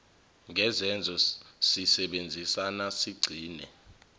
ngezenzo sisebenzisane sigcine